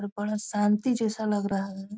और बड़ा शांति जैसा लग रहा है।